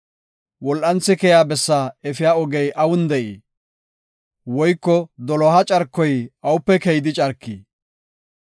Wol7anthi keya bessaa efiya ogey awun de7ii? Woyko doloha carkoy awupe keyidi carkii?